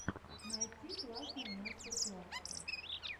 найти классные мастер классы